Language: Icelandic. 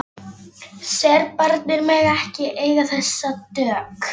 Serbarnir mega ekki eiga þessa dögg!